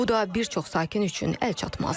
Bu da bir çox sakin üçün əlçatmazdır.